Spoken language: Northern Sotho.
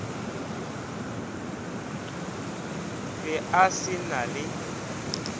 be a se na le